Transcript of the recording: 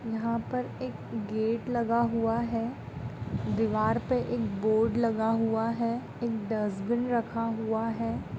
यहाँ पर एक गेट लगा हुआ है दीवार पर एक बोर्ड लगा हुआ है एक डस्टबिन रखा हुआ है।